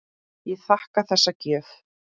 Ég þakka þessa gjöf.